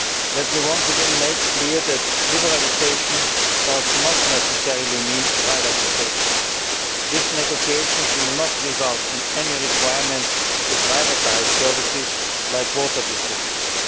Let me once again make clear that liberalisation does not necessarily mean privatisation. These negotiations will not result in any requirement to privatise services such as water distribution.